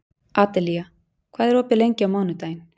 Adelía, hvað er opið lengi á mánudaginn?